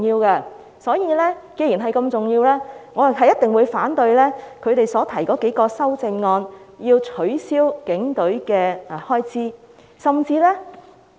既然警隊如此重要，我一定會反對他們提出削減警隊開支的數項修正案。